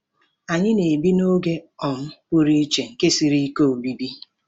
Anyị na-ebi 'n'oge um pụrụ iche nke siri ike obibi.'